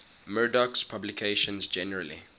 murdoch's publications generally